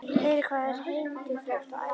Heyrir hvað það er heimtufrekt og ærandi.